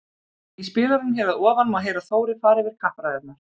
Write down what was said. Í spilaranum hér að ofan má heyra Þóri fara fyrir kappræðurnar.